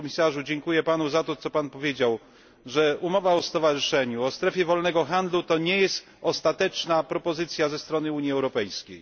Panie Komisarzu, dziękuję Panu za to, co Pan powiedział, że umowa o stowarzyszeniu, o strefie wolnego handlu, to nie jest ostateczna propozycja ze strony Unii Europejskiej.